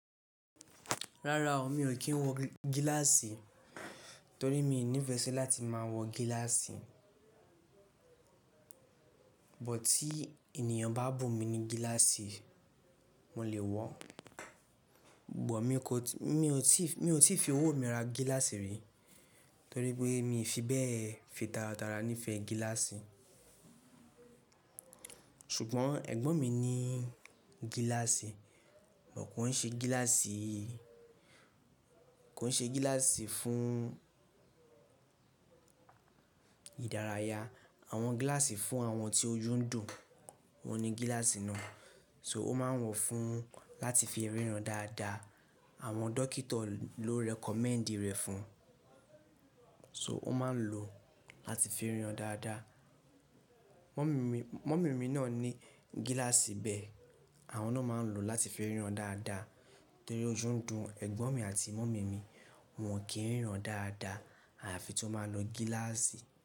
Rárá o, mi ò kí ń wọ gíláàsì torí mi ò nífẹ́ sí láti máa wọ gíláàsì. Bù tí ènìyàn bá bù mi ní gíláàsì, mo lè wọ̀. Bù mi kò ti, mi ò tí, mi ò tí fi owó mi ra gíláàsì rí torí pé mi fi bẹ́ẹ̀ fi tara tara nífẹ̀ẹ́ gíláàsì. Ṣùgbọ́n ẹ̀gbọ́n mi ní gíláàsì, kò ń ṣe gíláàsì, kò ń ṣe gíláàsì fún ìdárayá. Àwọn gíláàsì fún àwọn tí oyún ń dùn, oun ní gíláàsì náà, so ó máa ń wọ̀ fún láti fi ríran dáadáa. Àwọn dókítà ló recommend rẹ̀ fún, so ó máa ń lò láti fi ríran dáadáa. Mummy mi, mummy mi náà ní gíláàsì bẹ́ẹ̀, àwọn náà máa ń lò láti fi ríran dáadáa torí ojú ń dùn ẹ̀gbọ́n mi àti mummy mi, wọ́n kì í ríran dáadáa àfi tí wọ́n báa lò gíláàsì.